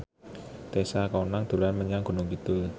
Tessa Kaunang dolan menyang Gunung Kidul